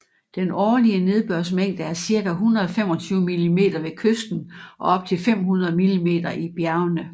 Den årlige nedbørsmængde er cirka 125 mm ved kysten og op til 500 mm i bjergene